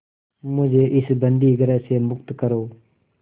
मुझे इस बंदीगृह से मुक्त करो